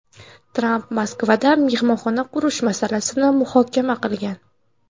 Tramp Moskvada mehmonxona qurish masalasini muhokama qilgan.